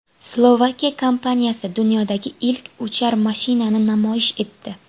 Slovakiya kompaniyasi dunyodagi ilk uchar mashinani namoyish etdi .